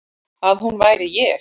Að hún væri ég.